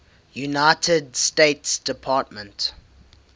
united states department